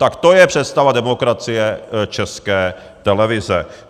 Tak to je představa demokracie České televize.